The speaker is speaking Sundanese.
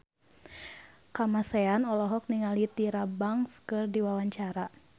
Kamasean olohok ningali Tyra Banks keur diwawancara